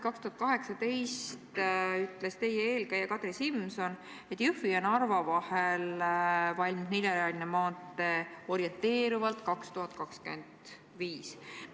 2018. aasta märtsis ütles teie eelkäija Kadri Simson, et Jõhvi ja Narva vahel valmib neljarealine maantee orienteeruvalt 2025. aastaks.